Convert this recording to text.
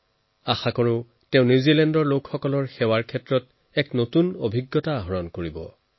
মই সকলোৱে কামনা কৰিছো যে নিউজিলেণ্ডৰ জনসাধাৰণৰ সেৱাত তেওঁ নতুন উচ্চতাত উপনীত হব